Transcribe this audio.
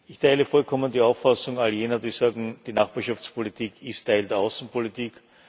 Ich teile vollkommen die Auffassung all jener, die sagen Die Nachbarschaftspolitik ist Teil der Außenpolitik.